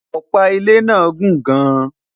ọpa ilé nà gùn gaan